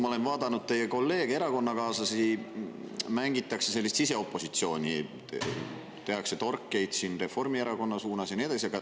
Ma olen vaadanud teie kolleege, erakonnakaaslasi – mängitakse siseopositsiooni, tehakse torkeid Reformierakonna suunas ja nii edasi.